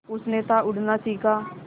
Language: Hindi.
उसने था उड़ना सिखा